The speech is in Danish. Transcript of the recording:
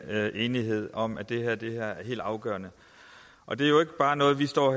enighed om at det her er helt afgørende og det er jo ikke bare noget vi står og